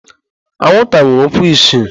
Anwụnta nwere ụkwụ isii.